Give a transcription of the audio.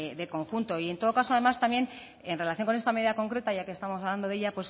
de conjunto y en todo caso además también en relación con esta medida concreta ya que estamos hablando de ella